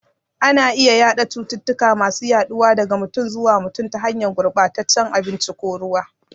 Ana iya yada cututtuka masu yaduwa daga mutum zuwa mutum, ta hanyar gurbataccen abinci ko ruwa.